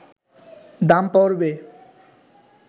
দাম পড়বে